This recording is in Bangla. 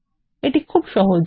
এটি সহজ কাজ